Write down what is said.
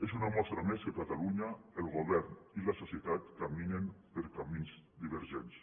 és una mostra més que a catalunya el govern i la societat caminen per camins divergents